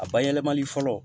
A bayɛlɛmali fɔlɔ